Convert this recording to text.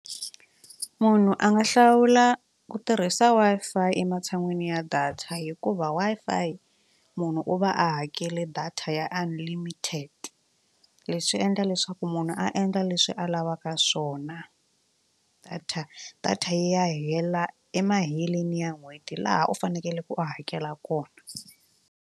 Munhu a nga hlawula ku tirhisa Wi-Fi ematshan'wini ya data hikuva Wi-Fi munhu u va a hakele data ya unlimited leswi endla leswaku munhu a endla leswi a lavaka swona data data yi ya hela emaheleni ya n'hweti laha u fanekele ku u hakela kona.